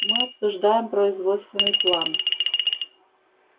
мы обсуждаем производственный план